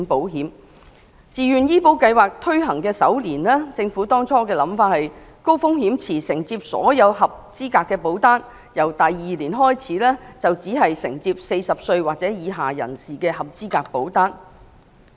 按照政府最初的構思，自願醫保計劃推行首年，高風險池將承接所有合資格保單，由第二年開始則只承接40歲或以下人士的合資格保單。